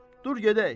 Dur gedək.